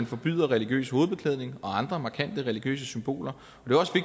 forbyder religiøs hovedbeklædning og andre markante religiøse symboler